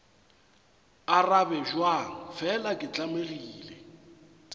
arabe bjang fela ke tlamegile